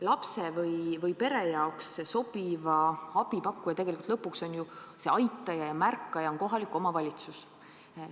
Lapse või pere jaoks sobiva abi pakkuja, see aitaja ja märkaja, on tegelikult lõpuks ju kohalik omavalitsus.